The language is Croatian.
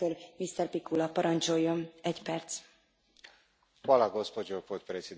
Gospođo predsjednice, zahvaljujem izvjestitelju na zaista dobroj suradnji.